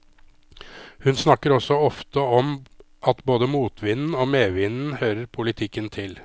Hun snakker også ofte om at både motvinden og medvinden hører politikken til.